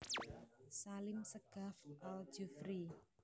Salim Segaf Al Jufri